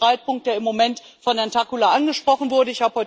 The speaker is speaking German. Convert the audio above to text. Das ist der Streitpunkt, der im Moment von Herrn Takkula angesprochen wurde.